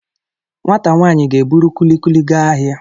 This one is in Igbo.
Nwata nwanyi ga-eburu kulikuli gaa ahia.